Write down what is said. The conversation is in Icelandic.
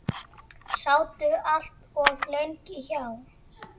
Sátu allt of lengi hjá.